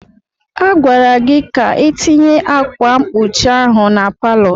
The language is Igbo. A gwara gị ka itinye ákwà mkpuchi ahụ na palọ!